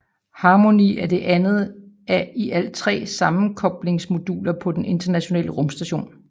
Harmony er det andet af i alt tre sammenkoblingsmoduler på Den Internationale Rumstation